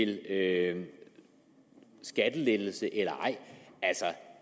det er en skattelettelse eller ej